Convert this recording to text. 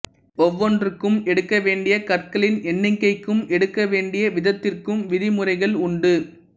ஒவ்வொன்றுக்கும் எடுக்க வேண்டிய கற்களின் எண்ணிக்கைக்கும் எடுக்கவேண்டிய விதத்திற்கும் விதிமுறைகள் உண்டு